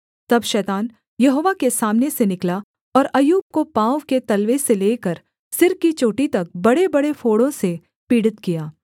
तब शैतान यहोवा के सामने से निकला और अय्यूब को पाँव के तलवे से लेकर सिर की चोटी तक बड़ेबड़े फोड़ों से पीड़ित किया